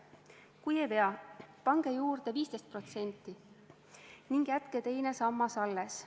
Kui ei vea, pange juurde 15% ning jätke teine sammas alles.